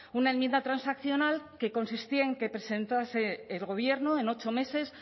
una enmienda transaccional que consistía en que presentase el gobierno en ocho meses